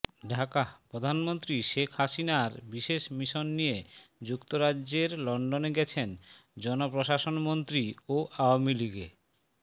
ঢাকাঃ প্রধানমন্ত্রী শেখ হাসিনার বিশেষ মিশন নিয়ে যুক্তরাজ্যের লন্ডনে গেছেন জনপ্রশাসনমন্ত্রী ও আওয়ামী লীগে